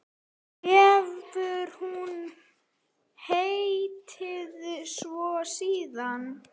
Hefur hún heitið svo síðan.